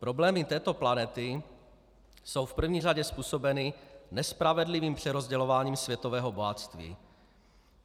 Problémy této planety jsou v první řadě způsobeny nespravedlivým přerozdělováním světového bohatství.